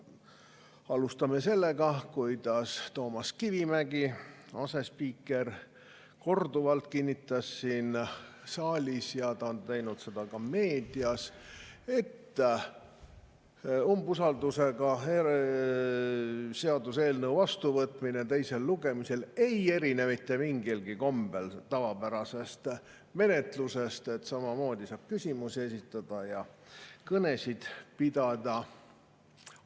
Alustame sellest, kuidas Toomas Kivimägi, asespiiker, korduvalt kinnitas siin saalis ja on teinud seda ka meedias, et seaduseelnõu vastuvõtmine teisel lugemisel ei erine mitte mingilgi kombel tavapärasest menetlusest, sest samamoodi saab küsimusi esitada ja kõnesid pidada.